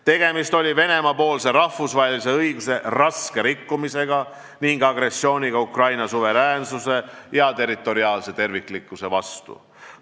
Tegemist oli Venemaa-poolse rahvusvahelise õiguse raske rikkumisega ning agressiooniga Ukraina suveräänsuse ja territoriaalse terviklikkuse vastu.